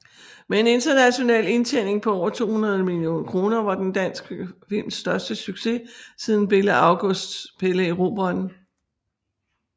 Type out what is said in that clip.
Med en international indtjening på over 200 millioner kroner var den dansk films største succes siden Bille Augusts Pelle Erobreren